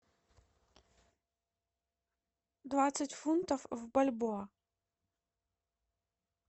двадцать фунтов в бальбоа